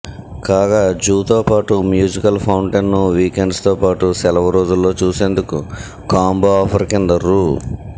కాగా జూతో పాటు మ్యూజికల్ ఫౌంటైన్ను వీకెండ్స్ తో పాటు సెలవు రోజుల్లో చూసేందుకు కాంబో ఆఫర్ కింద రూ